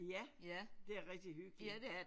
Ja det er rigtig hyggeligt